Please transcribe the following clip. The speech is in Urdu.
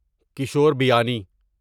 کشور بیانی